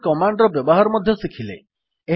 PS command ର ବ୍ୟବହାର ମଧ୍ୟ ଶିଖିଲେ